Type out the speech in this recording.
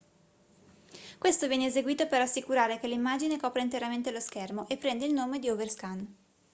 questo viene eseguito per assicurare che l'immagine copra interamente lo schermo e prende il nome di overscan